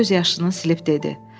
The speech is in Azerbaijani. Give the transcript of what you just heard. Meri göz yaşını silib dedi.